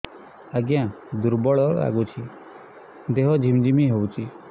ଆଜ୍ଞା ଦୁର୍ବଳ ଲାଗୁଚି ଦେହ ଝିମଝିମ ହଉଛି